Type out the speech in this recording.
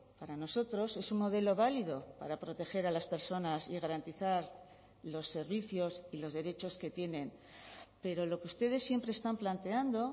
para nosotros es un modelo válido para proteger a las personas y garantizar los servicios y los derechos que tienen pero lo que ustedes siempre están planteando